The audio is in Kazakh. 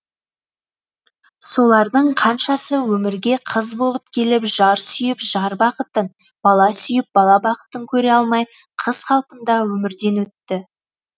солардың қаншасы өмірге қыз болып келіп жар сүйіп жар бақытын бала сүйіп бала бақытын көре алмай қыз қалпында өмірден өтті